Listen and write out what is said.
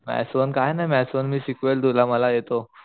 maths one काय नाय maths one मी शिकवेल तुला मला येतो